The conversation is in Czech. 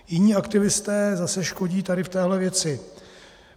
Jiní aktivisté zase škodí tady v téhle věci.